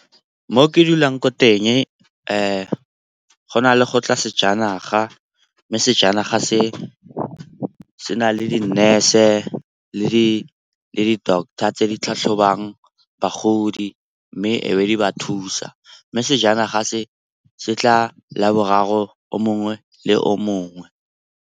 Mo ke dulang ko teng go na le go tla sejanaga mme sejanaga se se na le di-nurse-e le di-doctor tse di tlhatlhobang bagodi, mme e be di ba thusa. Mme sejanaga se se tla laboraro o mongwe le o mongwe.